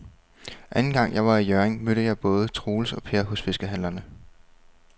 Anden gang jeg var i Hjørring, mødte jeg både Troels og Per hos fiskehandlerne.